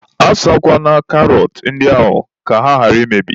A sakwana karọt ndị ahụ ka ha ghara imebi.